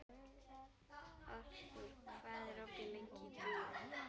Arthur, hvað er opið lengi í Tríó?